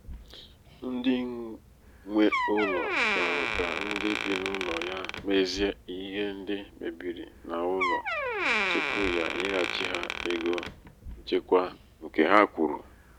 onye nwe ụlọ chọrọ ka ndị bị n'ụlọ ya mezie ihe ndị mebiri n'ụlọ tupu ya enyeghachi ha ego nchekwa nkè ha kwụrụ.